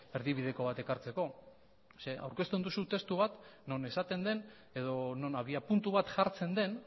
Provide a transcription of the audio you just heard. erdibideko bat ekartzeko zeren aurkezten duzu testu bat non esaten den edo non abiapuntu bat jartzen den